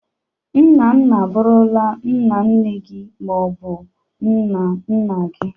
Nna nna abụrụla nna nne gi ma ọ bụ nna nna gi.